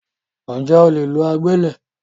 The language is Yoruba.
Ǹjẹ́ o lè lo agbẹ́lẹ̀?